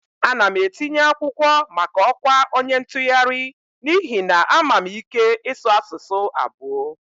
Ana m etinye akwụkwọ maka ọkwa onye ntụgharị n'ihi na ama m ike ịsụ asụsụ abụo